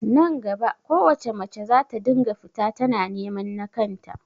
Nan gaba kowace mace zata dinga fita tana neman nakan ta